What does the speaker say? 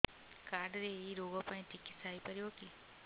card ରେ ଏଇ ରୋଗ ପାଇଁ ଚିକିତ୍ସା ହେଇପାରିବ କି